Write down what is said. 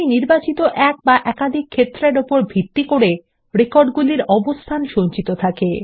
সূচীতে এক বা একাধিক নির্বাচিত ক্ষেত্রর উপর ভিত্তি করে রেকর্ডগুলির অবস্থান সঞ্চিত থাকে